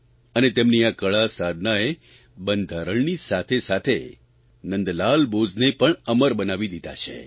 અને તેમની આ કળા સાધનાએ બંધારણની સાથેસાથે નંદલાલ બોઝને પણ અમર બનાવી દીધા છે